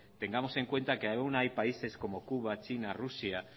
tengamos en cuenta que aún hay países como cuba china rusia